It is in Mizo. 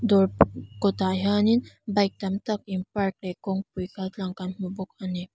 dawr kawtah hianin bike tam tak in park leh kawngpui kaltlang kan hmu bawk ani.